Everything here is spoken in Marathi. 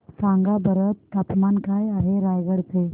सांगा बरं तापमान काय आहे रायगडा चे